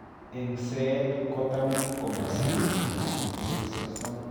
Eng'seet kotam komasiree minitisyek sosom